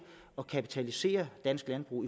at kapitalisere dansk landbrug